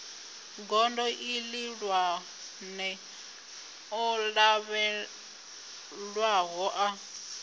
gondo ihulwane o lavhelelwaho a